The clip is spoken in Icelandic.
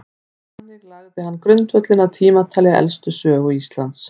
þannig lagði hann grundvöllinn að tímatali elstu sögu íslands